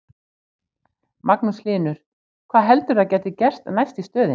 Magnús Hlynur: Hvað heldurðu að gæti gerst næst í stöðunni?